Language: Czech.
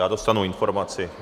Já dostanu informaci.